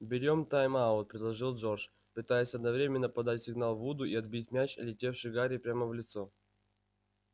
берём тайм-аут предложил джордж пытаясь одновременно подать сигнал вуду и отбить мяч летевший гарри прямо в лицо